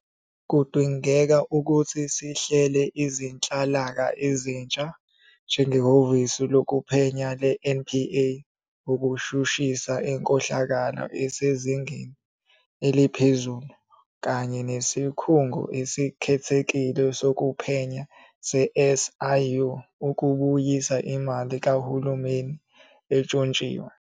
Kudingeke ukuthi sihlele izinhlaka ezintsha, njengeHhovisi Lokuphenya le-NPA ukushushisa inkohlakalo esezingeni eliphezulu kanye neSikhungo Esikhethekile Sokuphenya se-SIU ukubuyisa imali kahulumeni entshontshiwe.